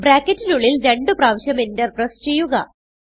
ബ്രാക്കറ്റിനുള്ളിൽ രണ്ടു പ്രാവിശ്യം enter പ്രസ് ചെയ്യുക